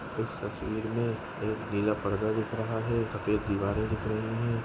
इस तस्वीर मेंएक जिला पड़ता दिख रहा है सफेद दीवारें दिख रही हैं।